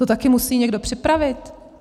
To taky musí někdo připravit.